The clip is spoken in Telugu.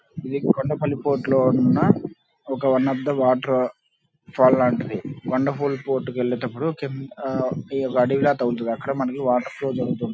ఇది కొండపల్లి ఫోర్ట్ లో ఉన్న ఒక one of the waterfall లాంటిది కొండపల్లి ఫోర్ట్ కి వెళ్ళేటప్పుడు కింద ఆ అడవి లా తగులుతుంది అక్కడ మనకు వాటర్ ఫ్లో జరుగుతుంటుంది.